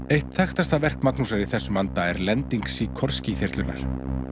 eitt þekktasta verk Magnúsar í þessum anda er lending Síkorský þyrlunnar